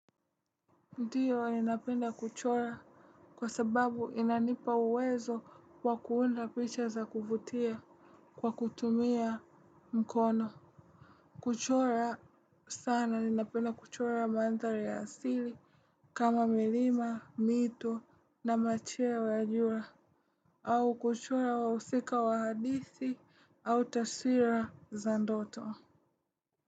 Ndiyo ninapenda kuchora kwa sababu inanipa uwezo wa kuunda picha za kuvutia kwa kutumia mkono. Kuchora sana ninapenda kuchora mandhari ya asili kama milima, mito na macheo ya jua au kuchora wahusika wa hadithi au tasira za ndoto.